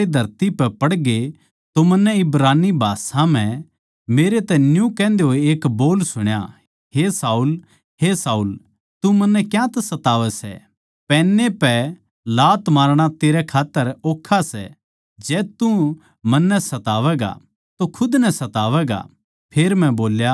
जिब हम सारे धरती पै पड़गे तो मन्नै इब्रानी भाषा म्ह मेरै तै न्यू कहन्दे होए एक बोल सुण्या हे शाऊल हे शाऊल तू मन्नै क्यांतै सतावै सै पैने पै लात मारणा तेरै खात्तर ओक्खा सै जै तू मन्नै सतावैगा तो तू खुद नै सतावैगा